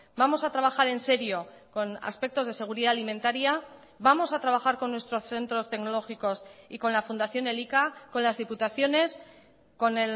vamos a trabajar en serio con aspectos de seguridad alimentaria vamos a trabajar con nuestros centros tecnológicos y con la fundación elika con las diputaciones con